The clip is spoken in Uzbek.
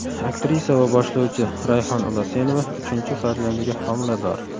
Aktrisa va boshlovchi Rayhon Ulasenova uchinchi farzandiga homilador.